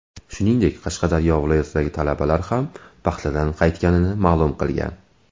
Shuningdek, Qashqadaryo viloyatidagi talabalar ham paxtadan qaytganini ma’lum qilgan.